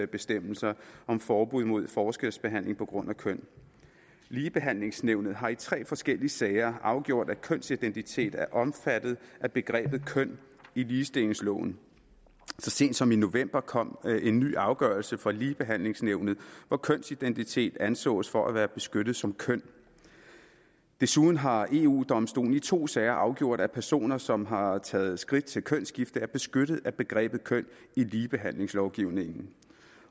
bestemmelser om forbud mod forskelsbehandling på grund af køn ligebehandlingsnævnet har i tre forskellige sager afgjort at kønsidentitet er omfattet af begrebet køn i ligestillingsloven så sent som i november kom en ny afgørelse fra ligebehandlingsnævnet hvor kønsidentitet ansås for at være beskyttet som køn desuden har eu domstolen i to sager afgjort at personer som har taget skridt til kønsskifte er beskyttet af begrebet køn i ligebehandlingslovgivningen